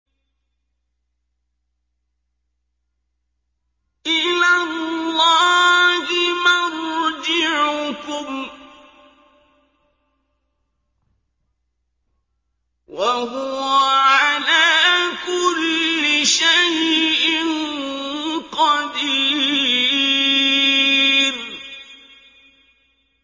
إِلَى اللَّهِ مَرْجِعُكُمْ ۖ وَهُوَ عَلَىٰ كُلِّ شَيْءٍ قَدِيرٌ